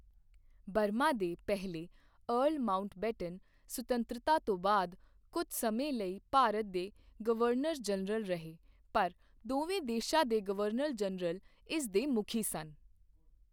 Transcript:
Burma ਦੇ ਪਹਿਲੇ earl Mountbatten ਸੁਤੰਤਰਤਾ ਤੋਂ ਬਾਅਦ ਕੁਝ ਸਮੇਂ ਲਈ ਭਾਰਤ ਦੇ ਗਵਰਨਰ ਜਨਰਲ ਰਹੇ ਪਰ ਦੋਵੇਂ ਦੇਸ਼ਾਂ ਦੇ ਗਵਰਨਰ ਜਨਰਲ ਇਸ ਦੇ ਮੁੱਖੀ ਸਨ।